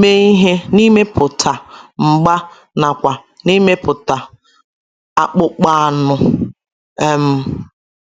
mee ihe n’imepụta mgba nakwa n’imepụta akpụkpọ anụ um.